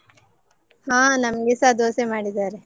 ಹಾ ನಮ್ಗೆಸ ದೋಸೆ ಮಾಡಿದ್ದಾರೆ.